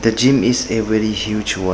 The gym is a very huge one.